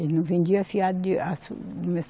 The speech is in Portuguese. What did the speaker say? Ele não vendia fiado de